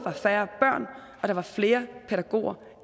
færre børn og flere pædagoger